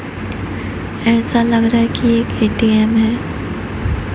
ऐसा लग रहा है कि एक ए_टी_एम है।